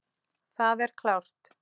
Það er klárt.